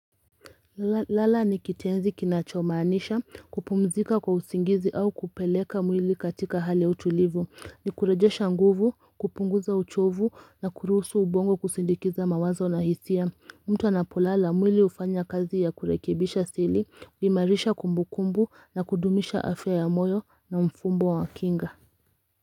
Lala ni kitenzi kinachomaanisha kupumzika kwa usingizi au kupeleka mwili katika hali ya utulivu ni kurejesha nguvu kupunguza uchovu na kuruhusu ubongo kusindikiza mawazo na hisia mtu anapolala mwili hufanya kazi ya kurekebisha asili kuimarisha kumbukumbu na kudumisha afya ya moyo na mfumbo wa kinga.